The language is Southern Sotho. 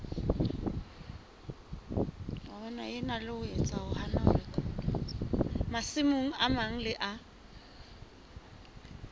masimo a mang le a